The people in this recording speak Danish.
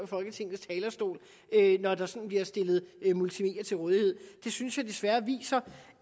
folketingets talerstol når der sådan bliver stillet multimedier til rådighed desværre viser